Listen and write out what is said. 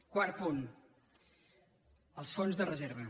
quart punt els fons de reserva